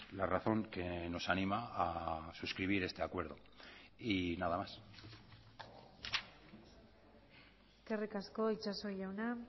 la razón que nos anima a suscribir este acuerdo y nada más eskerrik asko itxaso jauna